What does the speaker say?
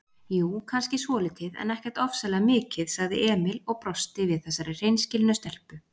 Jú, kannski svolítið, en ekkert ofsalega mikið, sagði Emil og brosti við þessari hreinskilnu stelpu.